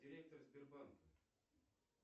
директор сбербанка